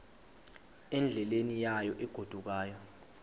endleleni yayo egodukayo